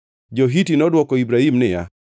Jo-Hiti nodwoko Ibrahim niya,